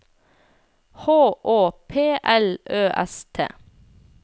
H Å P L Ø S T